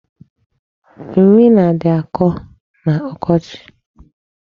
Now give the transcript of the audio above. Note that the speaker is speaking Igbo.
Nri nadị na-akọ n'ọkochi.